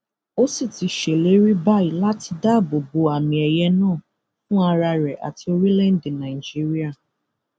ó sì ti ṣèlérí báyìí láti dáàbò bo àmìẹyẹ náà fún ara rẹ àti orílẹèdè nàìjíríà